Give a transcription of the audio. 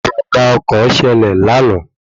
Ìjàm̀bá ọkọ̀ ṣẹlẹ̀ lánàá